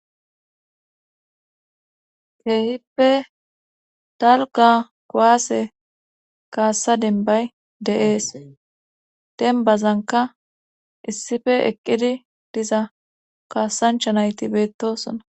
keehippe dalga kuwase kassa dembay de7ees dembazanka issife eqqidi diza kaasanchanayti beettosona.